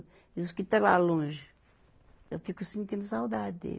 E os que estão lá longe, eu fico sentindo saudade dele.